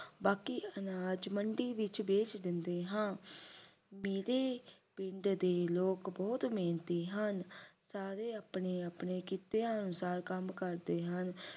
ਬਾਕੀ ਅਨਾਜ ਮੰਡੀ ਦੇ ਵਿੱਚ ਵੇਚ ਦਿੰਨੇ ਆਂ ਮੇਰੇ ਪਿੰਡ ਦੇ ਲੋਕ ਬਹੁਤ ਮਿਹਨਤੀ ਹਨ ਸਾਰੇ ਆਪਣੇ ਆਪਣੇ ਕੀਤੇ ਅਨੁਸਾਰ ਕੰਮ ਕਰਦੇ ਹਨ